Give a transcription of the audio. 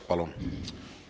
Palun!